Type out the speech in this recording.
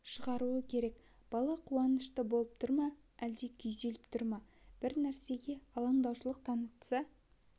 шығаруы керек бала қуанышты болып тұр ма әлде күйзеліп тұр ма бір нәрсеге алаңдаушылық таныта